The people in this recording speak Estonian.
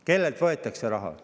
Kellelt raha võetakse?